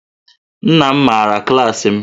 Nna m maara klaasị m